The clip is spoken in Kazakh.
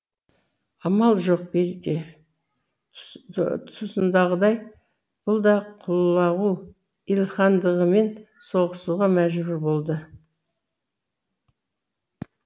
амал жоқ берке тұсындағыдай бұл да құлағу илхандығымен соғысуға мәжбүр болды